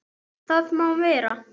Það má vera.